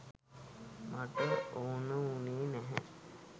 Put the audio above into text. මට ඕන වුණේ නැහැ